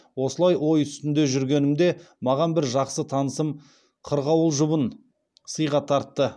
осылай ой үстінде жүргенімде маған бір жақсы танысым қырғауыл жұбын сыйға тартты